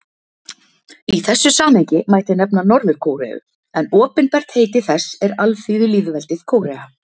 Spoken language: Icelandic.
Í þessu samhengi mætti nefna Norður-Kóreu en opinbert heiti þess er Alþýðulýðveldið Kórea.